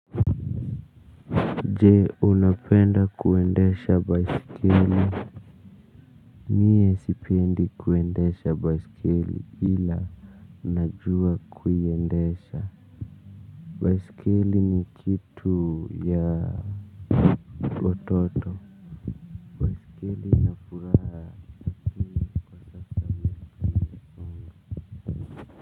Je, unapenda kuendesha baisikeli? Mie sipendi kuendesha baisikele ila najua kuiendesha baisikeli ni kitu ya watoto lakini ina furaha.